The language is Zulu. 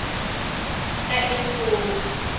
kaefodi